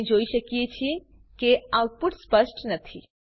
આપણે જોઈ શકીએ છીએ કે આઉટપુટ સ્પષ્ટ નથી